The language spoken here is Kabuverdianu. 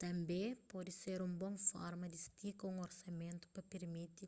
tânbe pode ser un bon forma di stika un orsamentu pa permiti